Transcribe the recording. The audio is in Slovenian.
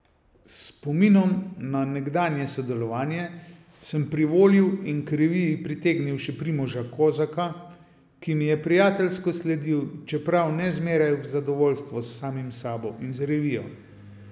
S spominom na nekdanje sodelovanje sem privolil in k reviji pritegnil še Primoža Kozaka, ki mi je prijateljsko sledil, čeprav ne zmeraj v zadovoljstvo s samim sabo in z revijo.